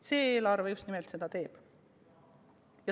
See eelarve just nimelt seda teeb.